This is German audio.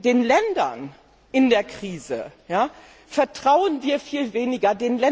Den Ländern in der Krise vertrauen wir viel weniger.